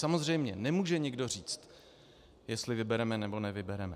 Samozřejmě nemůže nikdo říct, jestli vybereme nebo nevybereme.